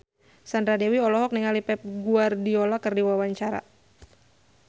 Sandra Dewi olohok ningali Pep Guardiola keur diwawancara